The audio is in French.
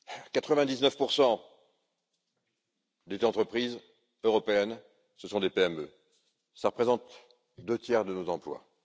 Quatre vingt dix neuf pour cent des entreprises européennes sont des PME, et représentent deux tiers de nos emplois.